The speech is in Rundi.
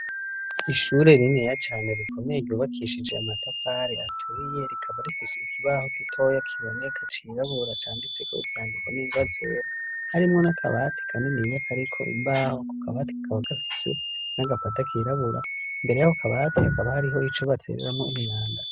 Ishure rininiya cane rikomeye ryubakishije amatafari aturiye, rikaba rifise ikibaho gitoya kiboneka cirabura canditse ko ivyandiko n'ingwa zera. Harimwo n'akabati kaniniya kariko imbaho, ako kabati kakaba gafise n'agapata kirabura, imbere y'ako kabati hakaba hariho ico batereramwo imyanda.